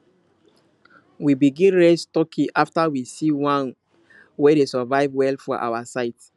we begin raise turkey after we see one wey dey survive well for our side